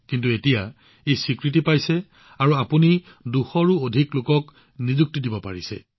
কিন্তু এতিয়া স্বীকৃতি লাভ কৰিছে আৰু আপুনি ২০০তকৈও অধিক লোকক নিযুক্তি দি আছে